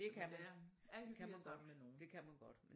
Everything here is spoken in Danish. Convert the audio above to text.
Men det er er hyggeligere sammen med nogen